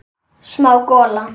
Smá gola.